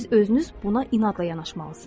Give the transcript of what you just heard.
Siz özünüz buna inadla yanaşmalısınız.